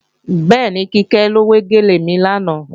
Bẹ́ẹ̀ni, Kíkẹ́ ló wé gèlè mi lánàá